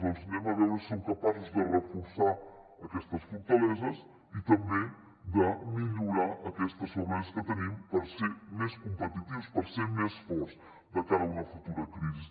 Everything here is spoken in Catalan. doncs vegem si som capaços de reforçar aquestes fortaleses i també de millorar aquestes febleses que tenim per ser més competitius per ser més forts de cara a una futura crisi